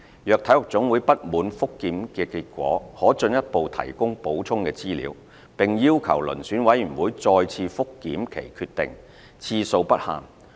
若體育總會不滿覆檢結果，可進一步提供補充資料，並要求遴選委員會再次覆檢其決定，次數不限。